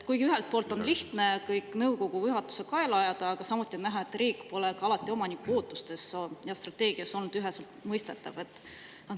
Ühelt poolt on lihtne kõik nõukogu või juhatuse kaela ajada, samas on näha, et riik pole omaniku ootustes ja strateegias alati üheselt mõistetav olnud.